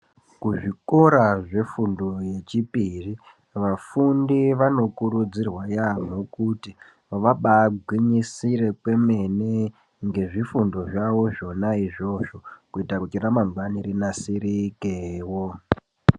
Kuzvikora zvefundo yechipiri vafundi vanokurudzirwa kuti vabagwinyisire kwemene nezvishando zvawo zvona izvozvo kuitira kuti ramangwani rinasirikewo.